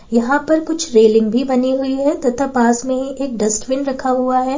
यहां पर कुछ रेलिंग भी बनी हुई है तथा पास में ही एक डस्टबिन रखा हुआ है।